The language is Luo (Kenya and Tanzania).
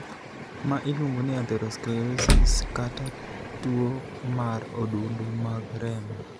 Ma iluongo ni 'atherosclerosis' kata two mar odundu mag remo.